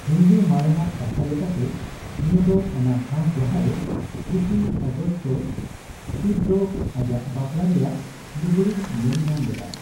ᱦᱤᱱᱫᱩ ᱢᱟᱨᱮᱱᱟᱜ ᱠᱟᱛᱷᱟ ᱞᱮᱠᱟᱛᱮ, ᱱᱤᱭᱟᱹ ᱫᱚ ᱚᱱᱟ ᱴᱷᱟᱣ ᱡᱟᱸᱦᱟᱨᱮ ᱨᱤᱥᱤ ᱚᱜᱚᱥᱛᱚ ᱥᱤᱵ ᱫᱚ ᱟᱡᱟᱜ ᱵᱟᱯᱞᱟ ᱨᱮᱭᱟᱜ ᱞᱩᱜᱽᱲᱤᱡ ᱧᱮᱞ ᱧᱟᱢ ᱞᱮᱫᱟᱭ ᱾